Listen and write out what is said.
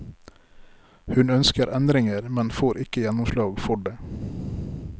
Hun ønsker endringer, men får ikke gjennomslag for det.